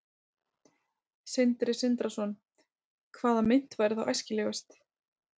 Sindri Sindrason: Hvaða mynt væri þá æskilegust?